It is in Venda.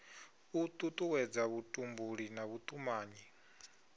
u tutuwedza vhutumbuli na vhutumanyi